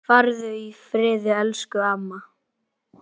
Farðu í friði, elsku amma.